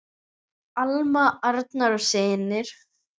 Alma, Arnar og synir.